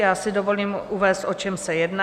Já si dovolím uvést, o čem se jedná.